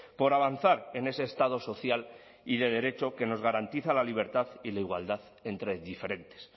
por avanzar en ese estado social y de derecho que nos garantiza la libertad y la igualdad entre diferentes